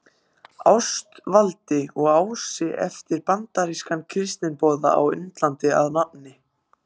Ástvaldi í Ási eftir bandarískan kristniboða á Indlandi að nafni